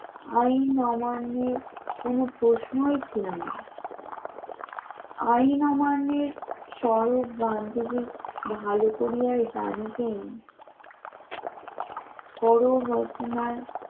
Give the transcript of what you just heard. আইন অমান্যের কোন প্রশ্নই ছিল না আইন অমানের স্বরূপ গান্ধীর ভালো করিয়া জানতেন সরলর রচনার